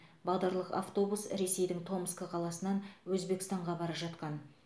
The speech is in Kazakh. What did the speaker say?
бағдарлық автобус ресейдің томск қаласынан өзбекстанға бара жатқан